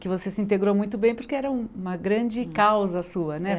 Que você se integrou muito bem porque era uma grande causa sua, né?